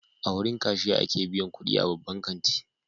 A wurin kashiya ake biyan kudi a babban kanti.